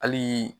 Hali